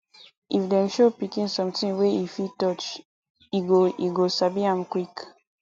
if dem show pikin something wey e fit touch e go e go sabi am quick